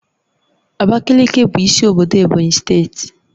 Abakaliki bụ isi obodo Ebonyi steeti